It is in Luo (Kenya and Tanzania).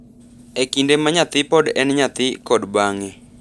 e kinde ma nyathi pod en nyathi kod bang’e.